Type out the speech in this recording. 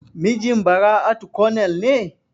Mijin Bara'atu konel ne?